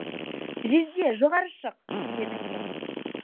жезде жоғары шық дедің сен